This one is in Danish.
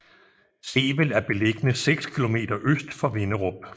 Sevel er beliggende seks kilometer øst for Vinderup